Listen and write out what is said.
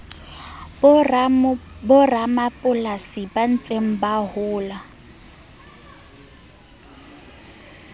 boramapolasi ba ntseng ba hola